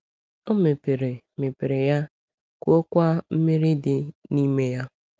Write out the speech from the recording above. O mepere mepere ya, kụọkwa mmiri dị n’ime ya.